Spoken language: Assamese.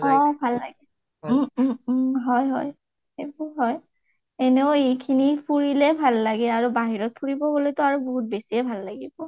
অ অ ভাল লাগে । উম উম উম হয় হয় । সেইতো হয়। এনেও এখিনি ফুৰিলে ভাল লাগে আৰু বাহিৰত ফুৰিব লগেতো আৰু বাহুত বেছিয়ে ভাল লাগিব